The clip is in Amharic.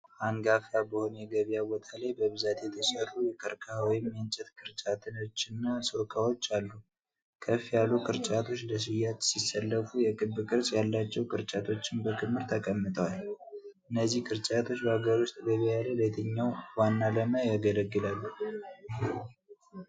አንጋፋ በሆነ የገበያ ቦታ ላይ በብዛት የተሠሩ የቀርከሃ ወይም የእንጨት ቅርጫቶችና ዕቃዎች አሉ። ከፍ ያሉ ቅርጫቶች ለሽያጭ ሲሰለፉ፣ የክብ ቅርጽ ያላቸው ቅርጫቶችም በክምር ተቀምጠዋል። እነዚህ ቅርጫቶች በአገር ውስጥ ገበያ ላይ ለየትኛው ዋና ዓላማ ያገለግላሉ?